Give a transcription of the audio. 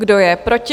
Kdo je proti?